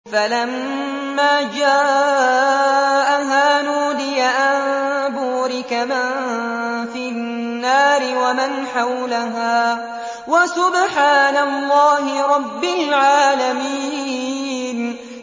فَلَمَّا جَاءَهَا نُودِيَ أَن بُورِكَ مَن فِي النَّارِ وَمَنْ حَوْلَهَا وَسُبْحَانَ اللَّهِ رَبِّ الْعَالَمِينَ